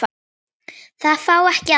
Það fá ekki allir.